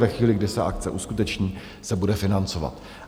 Ve chvíli, kdy se akce uskuteční, se bude financovat.